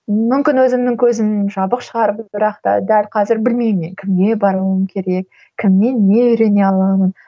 мүмкін өзімнің көзім жабық шығар бірақь та дәл қазір білмеймін мен кімге баруым керек кімнен не үйрене аламын